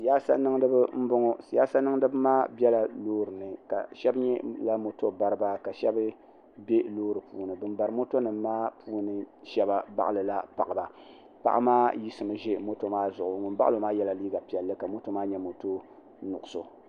siya niŋ di be n bɔŋɔ siya niŋ di be maa bɛla lorini ka shɛb mi nyɛ mɔto bariba ka shɛb mi kuli bɛ lori puuni ban bari mɔto nimaa puuni shɛba baɣ' la paɣ' ba paɣ' 'maa yiɣ'simi ʒɛ mɔto maa zuɣ' ŋɔ baɣ' lo maa yɛla liga piɛli ka mɔto maa nyɛ mɔtonuɣisu